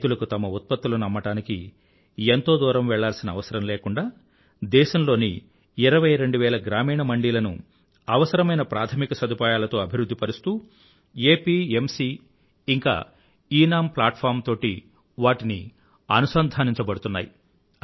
రైతులకు తమ ఉత్పత్తులను అమ్మడానికి ఎంతో దూరం వెళ్ళాల్సిన అవసరం లేకుండా దేశంలోని ఇరవై రెండువేల గ్రామీణ మండీలను అవసరమైన ప్రాధమిక సదుపాయాలతో అభివృధ్ధి పరుస్తూ ఏపీఎంసీ ఇంకా ఎనం ప్లాట్ఫార్మ్ తోటి వాటిని అనుసంధానించబడుతున్నాయి